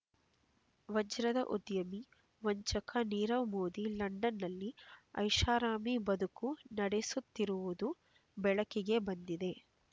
ವಜ್ರದ ಉದ್ಯಮಿ ವಂಚಕ ನೀರವ್ ಮೋದಿ ಲಂಡನ್‌ನಲ್ಲಿ ಐಷಾರಾಮಿ ಬದುಕು ನಡೆಸುತ್ತಿರುವುದು ಬೆಳಕಿಗೆ ಬಂದಿದೆ